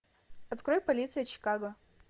открой полиция чикаго